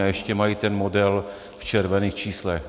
A ještě mají ten model v červených číslech.